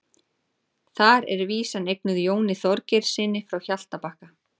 Þar er vísan eignuð Jóni Þorgeirssyni frá Hjaltabakka.